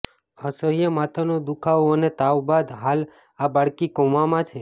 અસહ્ય માથાનો દુખાવો અને તાવ બાદ હાલ આ બાળકી કોમામાં છે